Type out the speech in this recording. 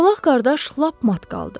Çolaq qardaş lap mat qaldı.